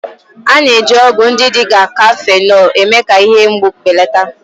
A na-eji ọgwụ ndị dị ka kafenọ eme-ka ihe mgbu belata